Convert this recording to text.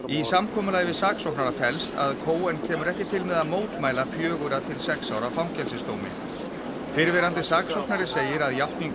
í samkomulagi við saksóknara felst að kemur ekki til með að mótmæla fjögurra til sex ára fangelsisdómi fyrrverandi saksóknari segir að játning